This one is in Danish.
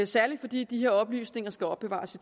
særlig fordi disse oplysninger skal opbevares